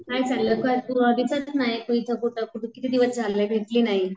काय चाललं? काय तू दिसत नाही तू इथं कुठं ? किती दिवस झाले भेटली नाही.